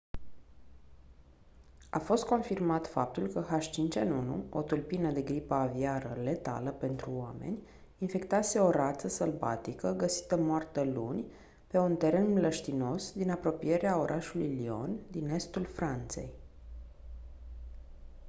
a fost confirmat faptul că h5n1 o tulpină de gripă aviară letală pentru oameni infectase o rață sălbatică găsită moartă luni pe un teren mlăștinos din apropierea orașului lyon din estul franței